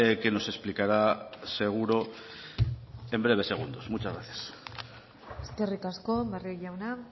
que nos explicará seguro en breves segundos muchas gracias eskerrik asko barrio jauna